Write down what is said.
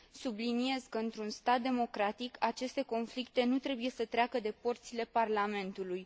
Subliniez că, într un stat democratic, aceste conflicte nu trebuie să treacă de porțile parlamentului.